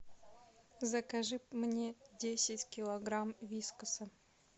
закажи мне десять килограмм вискаса